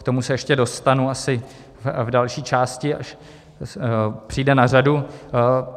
K tomu se ještě dostanu asi v další části, až přijde na řadu.